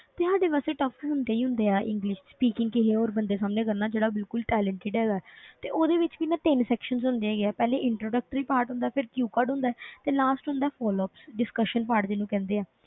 ਤੇ ਸਾਡੇ ਵਾਸਤੇ tough ਹੁੰਦੇ ਹੀ ਹੁੰਦੇ ਆ english speaking ਕਿਸੇ ਹੋਰ ਬੰਦੇ ਸਾਹਮਣੇ ਕਰਨਾ ਜਿਹੜਾ ਬਿਲਕੁਲ talented ਹੈਗਾ ਹੈ ਤੇ ਉਹਦੇ ਵਿੱਚ ਵੀ ਨਾ ਤਿੰਨ sections ਹੁੰਦੇ ਹੈਗੇ ਆ ਪਹਿਲੇ introductory part ਹੁੰਦਾ ਹੈ ਫਿਰ q card ਹੁੰਦਾ ਹੈ ਤੇ last ਹੁੰਦਾ ਹੈ flops discussion part ਜਿਹਨੂੰ ਕਹਿੰਦੇ ਆ,